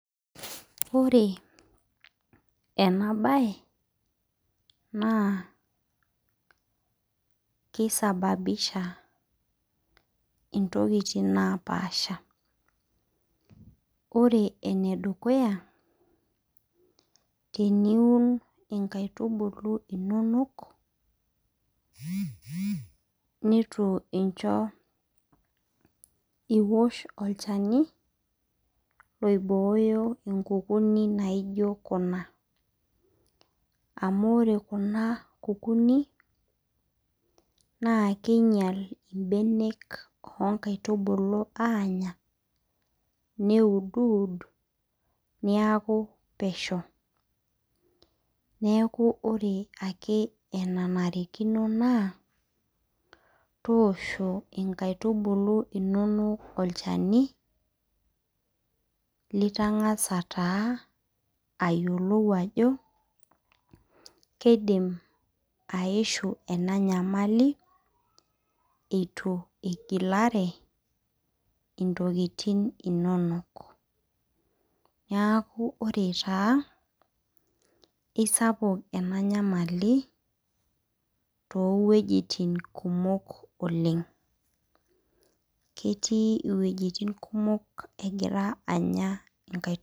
Ore ena mbae naa kisababisha ntokitin napashaa amu ore ene dukuya te niun nkaitubulu inono neitu ewosh olchani oiboyoo enkukuni naijio Kuna amu ore Kuna kukuni na kinyial mbanek oo nkaitubulu anyaa neudud neeku peshoneeku ore ake enanarikino naa tolosho nkaitubulu enono olchani litangasa ayiolou Ajo kidim ayishu ena nyamali eitu wigilira ntokitin neeku ore esapuk ena nyamali too wuejitin kumok ketii wuejitin egira anya nkaitubulu